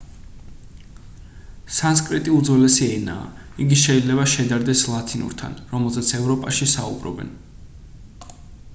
სანსკრიტი უძველესი ენაა იგი შეიძლება შედარდეს ლათინურთან რომელზეც ევროპაში საუბრობენ